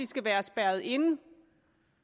skal være spærret inde